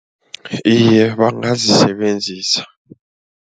Iye, bangazisebenzisa.